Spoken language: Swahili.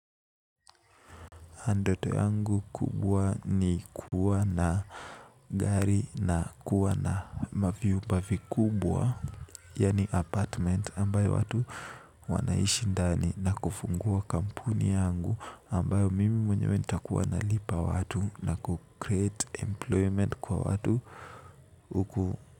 Ndoto yangu kubwa ni kuwa na gari na kuwa na mavyumba vikubwa. Yani apartment ambayo watu wanaishi ndani na kufungua kampuni yangu, ambayo mimi mwenyewe nitakuwa nalipa watu na ku create employment kwa watu huku,